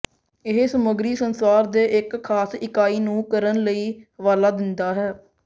ਇਹ ਸਮੱਗਰੀ ਸੰਸਾਰ ਦੇ ਇੱਕ ਖਾਸ ਇਕਾਈ ਨੂੰ ਕਰਨ ਲਈ ਹਵਾਲਾ ਦਿੰਦਾ ਹੈ